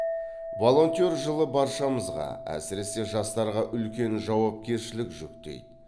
волонтер жылы баршамызға әсірсе жастарға үлкен жауапкершілік жүктейді